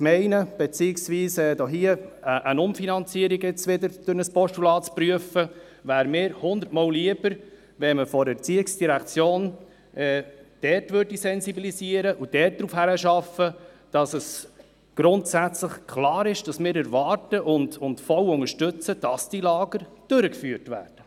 Anstatt wieder eine Umfinanzierung durch ein Postulat zu prüfen, wäre es mir hundertmal lieber, wenn die ERZ dort sensibilisieren und darauf hinarbeiten würde, dass es grundsätzlich klar ist, dass wir erwarten und voll unterstützen, dass die Lager durchgeführt werden.